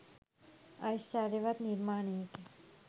ඓශ්චර්යවත් නිර්මාණයකි.